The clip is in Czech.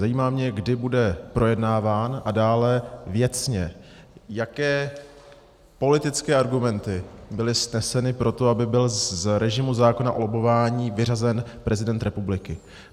Zajímá mě, kdy bude projednáván, a dále věcně, jaké politické argumenty byly sneseny pro to, aby byl z režimu zákona o lobbování vyřazen prezident republiky.